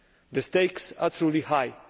The stakes are truly high.